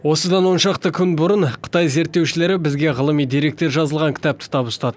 осыдан оншақты күн бұрын қытай зерттеушілері бізге ғылыми деректер жазылған кітапты табыстады